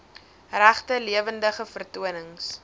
regte lewendige vertonings